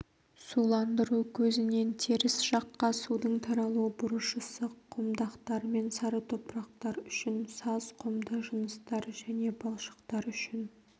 суландыру көзінен теріс жаққа судың таралу бұрышысы құмдақтар мен сары топырақтар үшін саз-құмды жыныстар және балшықтар үшін